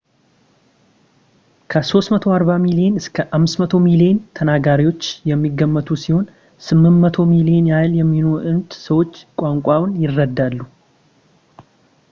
ከ 340 ሚሊዮን እስከ 500 ሚሊዮን ተናጋሪዎች የሚገመቱ ሲሆን 800 ሚሊዮን ያህል የሚሆኑት ሰዎች ቋንቋውን ይረዳሉ